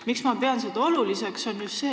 Miks ma pean seda oluliseks?